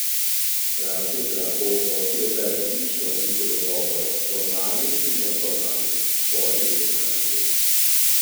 Stranke se lahko odločijo za različne oblike dogovorov, formalnih in neformalnih, s svojimi poslanci.